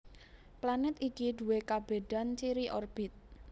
Planèt iki duwé kabédan ciri orbit